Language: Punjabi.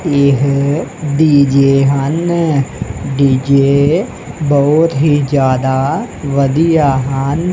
ਇਹ ਡੀ_ਜੇ ਹਨ ਡੀ_ਜੇ ਬਹੁਤ ਹੀ ਜਿਆਦਾ ਵਧੀਆ ਹਨ।